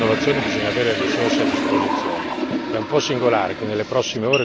Vorrei dire però che per avere ricerca ed innovazione bisogna avere risorse a disposizione.